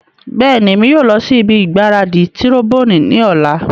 Bẹẹni, Emi yoo lọ si ibi gbaradi tiroboni ni ọla